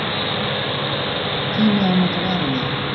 Tími á að nota varaliðið?